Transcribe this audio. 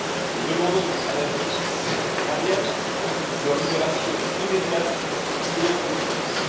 Nous demandons à la justice iranienne leur libération immédiate et inconditionnelle.